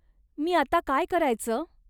मी आता काय करायचं?